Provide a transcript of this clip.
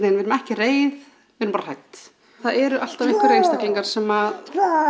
við erum ekki reið við erum bara hrædd það eru alltaf einhverjir einstaklingar sem